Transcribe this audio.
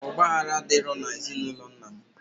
Ogbaghala adiro na ezi na ulo nnam.